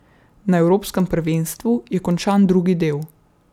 Na evropskem prvenstvu je končan drugi del.